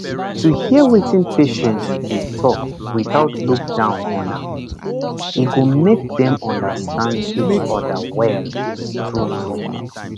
to dey hear wetin patient dey talk without look down on am e go make dem understand each other well true true